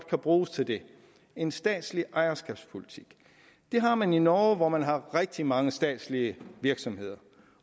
kan bruges til det en statslig ejerskabspolitik det har man i norge hvor man har rigtig mange statslige virksomheder